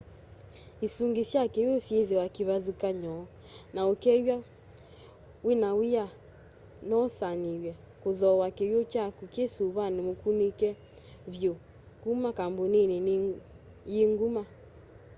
isungi sya kiw'u syithiawa kivathukany'o na ukeew'a wina w'ia nousuanie kuthooa kiw'u kyaku ki suvani mukunike vyu kuma kambunini yi nguma